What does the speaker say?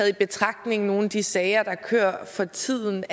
i betragtning af nogle af de sager der kører for tiden